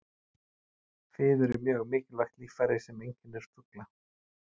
Fiður er mjög mikilvægt líffæri sem einkennir fugla.